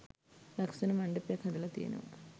ලස්සන මණ්ඩපයක් හදලා තියෙනවා.